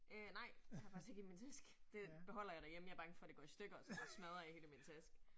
Øh nej. Jeg har faktisk ikke i min taske. Det beholder jeg derhjemme, jeg bange for det går i stykker og smadrer i hele min taske